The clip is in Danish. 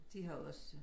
De har også